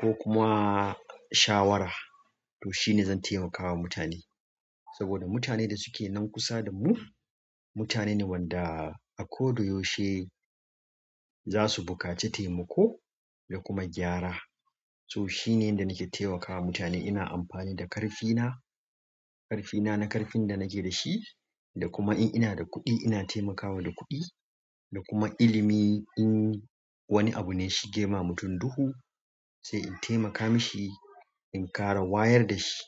ko kuma shawara. To shi ne zan taimakawa mutane saboda mutanen da suke nan kusa da mu mutane ne wanda a ko da yaushe za su buƙaci taimako da kuma gyara. To shine yanda nake taimakawa matane, ina amfani da ƙarfina, ƙarfina na ƙarfin da nake da shi, da kuma in ina da kuɗi ina taimakawa da kuɗi, da kuma ilimi. In wani abu ne ya shige ma mutum duhu sai in taimaka mishi in ƙara wayar da shi.